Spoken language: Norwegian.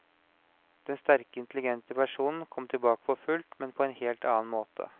Den sterke, intelligente personen kom tilbake for fullt, men på en helt annen måte.